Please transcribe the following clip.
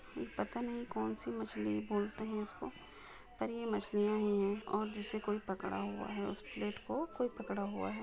यह पता नहीं कौनसी मछली बोलते हे इसको पर ये मछलिया ही है और जिसे कोई पकड़ा हुआ हैउस प्लेट को कोई पकड़ा हुआ है।